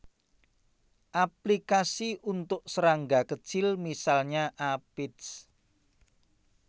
Aplikasi untuk serangga kecil misalnya Aphids